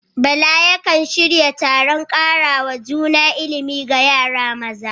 Bala yakan shirya taron karawa juna ilimi ga yara maza.